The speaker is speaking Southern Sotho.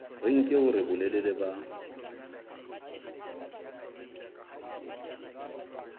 re nke hore bolelele ba